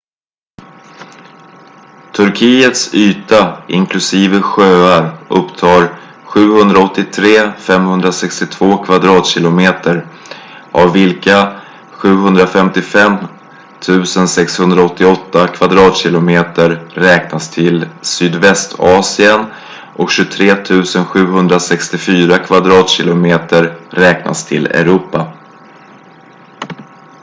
turkiets yta inklusive sjöar upptar 783,562 kvadratkilometer 300,948 sq mi av vilka 755,688 kvadratkilometer 291,773 sq mi räknas till sydvästasien och 23,764 kvadratkilometer 9,174 sq mi räknas till europa